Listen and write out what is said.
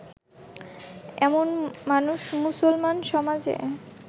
এমন মানুষ মুসলমান সমাজে